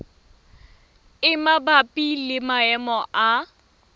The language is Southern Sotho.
e mabapi le maemo a